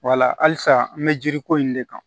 Wala halisa an bɛ yiri ko in de kan